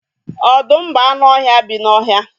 Ọdụm bụ anụ ọhịa bi n'ọhịa